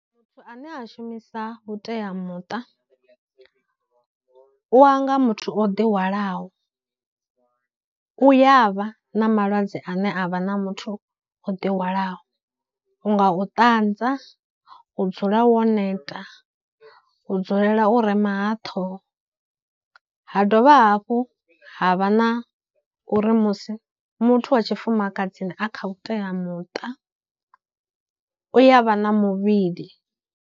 Muthu ane a shumisa vhuteamuṱa, u anga muthu o ḓi hwalaho, u ya vha na malwadze ane a vha na muthu o ḓi hwalaho, u nga u ṱanza, u dzula wo neta, u dzulela u rema ha ṱhoho, ha dovha hafhu ha vha na uri musi muthu wa tshifumakadzini a kha vhuteamuṱa u ya vha na muvhili.